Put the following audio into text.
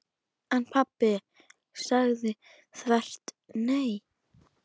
En pabbi sagði þvert nei.